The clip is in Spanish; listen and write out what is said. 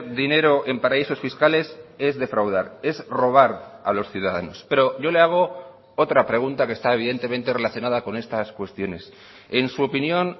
dinero en paraísos fiscales es defraudar es robar a los ciudadanos pero yo le hago otra pregunta que está evidentemente relacionada con estas cuestiones en su opinión